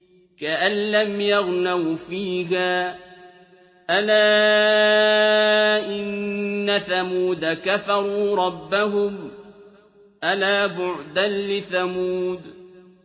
كَأَن لَّمْ يَغْنَوْا فِيهَا ۗ أَلَا إِنَّ ثَمُودَ كَفَرُوا رَبَّهُمْ ۗ أَلَا بُعْدًا لِّثَمُودَ